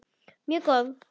Mjög góð.